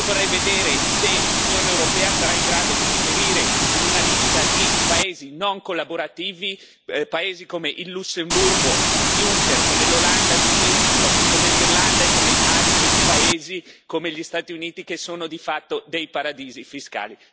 Io vorrei vedere se l'Unione europea sarà in grado di inserire in una lista di paesi non collaborativi paesi come il Lussemburgo di Juncker, come l'Olanda di Dijsselbloem, come l'Irlanda e come altri paesi, come gli Stati Uniti, che sono di fatto dei paradisi fiscali.